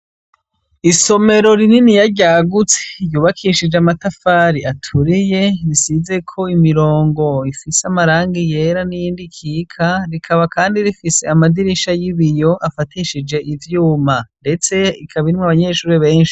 Isomero rininiya ryagutse ryubakishije amatafari aturiye, risizeko imirongo ifise amarangi yera n'iyindi ikika, rikaba kandi rifise amadirisha y'ibiyo afatishije ivyuma. Ndetse ikaba irimwo abanyeshure benshi.